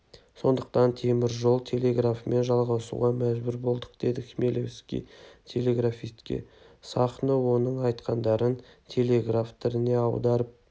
сондықтан темір жол телеграфымен жалғасуға мәжбүр болдық деді хмелевский телеграфистке сахно оның айтқандарын телеграф тіліне аударып